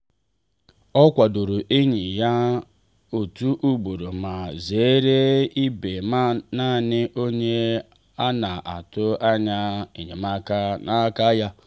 o kwadoro enyi ya otu ugboro ma zere ịbụ naanị onye a na-atụ anya enyemaka n’aka ya.